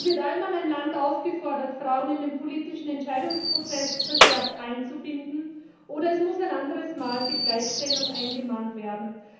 So wird einmal ein Land aufgefordert, Frauen in den politischen Entscheidungsprozess verstärkt einzubinden, oder es muss ein anderes Mal die Gleichstellung eingemahnt werden.